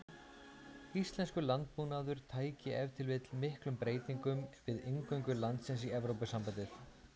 Íslenskur landbúnaður tæki ef til vill miklum breytingum við inngöngu landsins í Evrópusambandið.